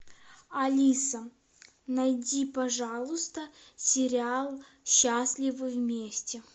алиса найди пожалуйста сериал счастливы вместе